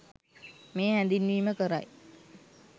මේ හැඳින්වීම කරයි.